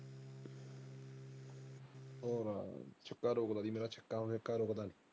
ਹਮ ਛਕਾ ਰੋਕਦਾ ਸੀ ਮੇਰਾ .